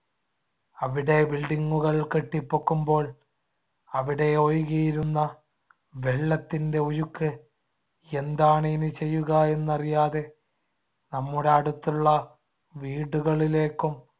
അവിടെ building കൾ കെട്ടിപൊക്കുമ്പോൾ, അവിടെയൊഴുകിയിരുന്ന വെള്ളത്തിന്‍ടെ ഒഴുക്ക് എന്താണ് ഇനി ചെയ്യുക എന്നറിയാതെ നമ്മുടെ അടുത്തുള്ള വീടുകളിലേക്കും